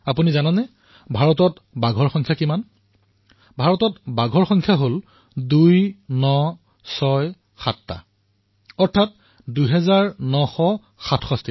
আপুনি জানেনে ভাৰত কিমান বাঘ আছে ভাৰতত ২৯৬৭টা বাঘ আছে